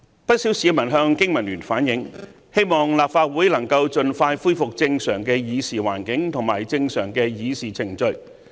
不少市民向經民聯反映，希望立法會能夠盡快恢復正常的議事環境及議事程序。